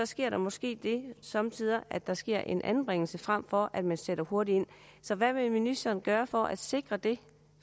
sker der måske somme tider at der sker en anbringelse altså frem for at man sætter hurtigt ind så hvad vil ministeren gøre for at sikre det